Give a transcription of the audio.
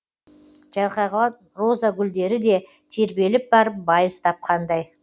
жайқалған роза гүлдері де тербеліп барып байыз тапқандай